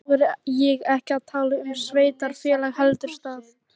Þá er ég ekki að tala um sveitarfélag heldur stað.